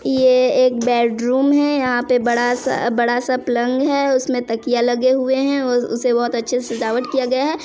ये एक बैडरूम है यहाँ पे बड़ा सा बड़ा सा पलंग है उसमें तकिया लगे हुए हैं और उसे बहुत अच्छे से सजावट किया गया है।